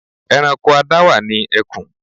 Ẹranko adáwà ni àwọn ẹkùn.